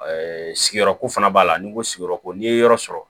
sigiyɔrɔko fana b'a la ni ko sigiyɔrɔko n'i ye yɔrɔ sɔrɔ